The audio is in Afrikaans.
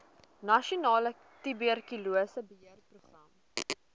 nasionale tuberkulose beheerprogram